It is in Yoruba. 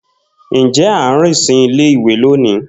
Njẹ a n rin si ile-iwe loni?